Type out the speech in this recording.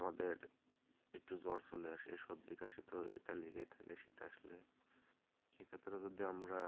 আমাদের একটু জ্বর চলে আসে, সর্দি কাশি এটা তো লেগেই থাকে শীত আসলে সেক্ষেত্রে যদি আমরা